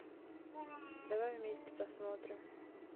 давай вместе посмотрим